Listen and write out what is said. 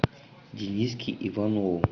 дениске иванову